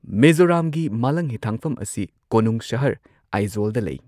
ꯃꯤꯖꯣꯔꯥꯝꯒꯤ ꯃꯥꯂꯪꯍꯤꯊꯥꯡꯐꯝ ꯑꯁꯤ ꯀꯣꯅꯨꯡ ꯁꯍꯔ ꯑꯥꯏꯖꯣꯜꯗ ꯂꯩ꯫